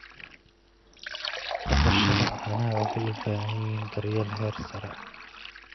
Dhaqashada caanaha waxay u baahan tahay daryeel heer sare ah.